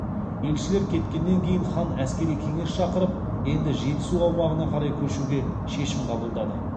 елшілер кеткеннен кейін хан әскери кеңес шақырып енді жетісу аумағына қарай көшуге шешім қабылдады